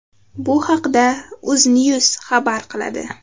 Bu haqda Uznews xabar qiladi .